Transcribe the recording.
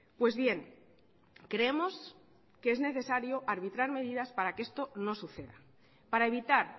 pues bien creemos que es necesario arbitrar medidas para que esto no suceda para evitar